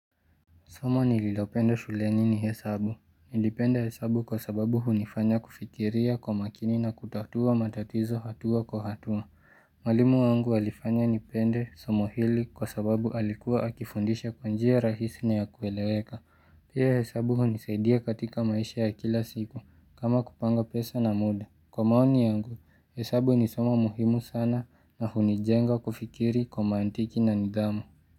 Somo nililopendo shuleni ni hesabu. Nilipende hesabu kwa sababu hunifanya kufikiria kwa makini na kutatua matatizo hatua kwa hatua. Mwalimu wangu alifanya nipende somo hili kwa sababu alikuwa akifundisha kwanjia rahisi na ya kueleweka. Pia hesabu hunisaidia katika maisha ya kila siku kama kupanga pesa na muda. Kwa maoni yangu, hesabu ni soma muhimu sana na hunijenga kufikiri kwa maantiki na nidhamu.